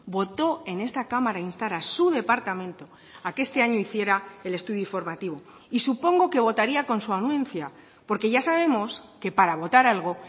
votó en esta cámara a instar a su departamento a que este año hiciera el estudio informativo y supongo que votaría con su anuencia porque ya sabemos que para votar algo